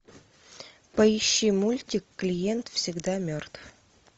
поищи мультик клиент всегда мертв